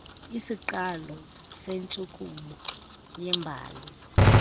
isiqalo sentshukumo yebali